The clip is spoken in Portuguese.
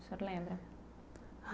O senhor lembra?